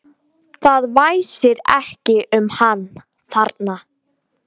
Það væsir ekki um hann þarna.